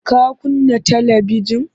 Ka kunna talibijin?